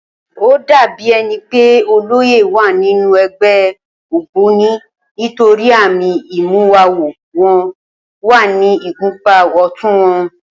Ó dàbí e̩ni pé olóyè wà nínú e̩gbé̩ ògbóni nítorí àmì ìmúwawo wo̩n wà ní ìgúnpá ò̩tún wo̩n